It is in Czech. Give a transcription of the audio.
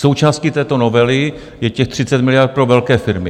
Součástí této novely je těch 30 miliard pro velké firmy.